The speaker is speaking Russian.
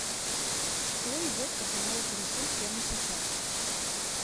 что идет по каналу карусель прямо сейчас